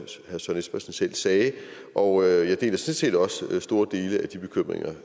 selv sagde og jeg deler sådan set også store dele af de bekymringer